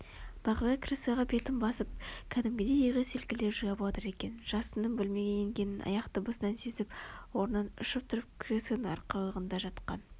бағила креслоға бетін басып кәдімгідей иығы селкілдеп жылап отыр екен жасынның бөлмеге енгенін аяқ дыбысынан сезіп орнынан ұшып тұрып креслоның арқалығында жатқан